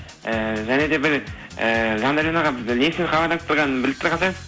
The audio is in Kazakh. ыыы және де бір і жандәурен аға не үшін хабарласып тұрғанымды біліп тұрған